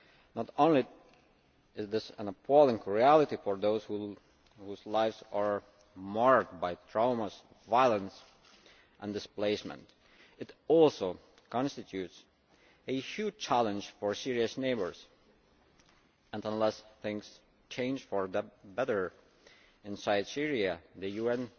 Not only is this an appalling reality for those whose lives are marred by traumas, violence and displacement, it also constitutes a huge challenge for Syria's neighbours, and unless things change for the better inside Syria the UN